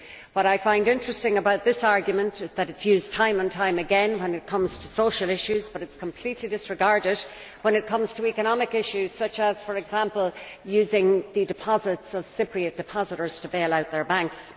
What I find interesting about this argument is that it is used time and time again when it comes to social issues, but it is completely disregarded when it comes to economic issues such as, for example, using the deposits of Cypriot depositors to bail out their banks.